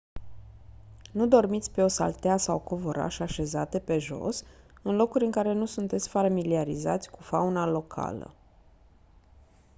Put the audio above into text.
nu dormiți pe o saltea sau covoraș așezate pe jos în locuri în care nu sunteți familiarizați cu fauna locală